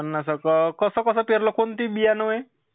पन्नास हजार, कसा कसा पेरला कोणती बियाणोये?